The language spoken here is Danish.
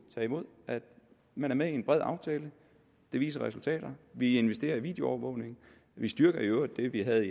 tage imod man er med i en bred aftale den viser resultater vi investerer i videoovervågning vi styrker i øvrigt det vi havde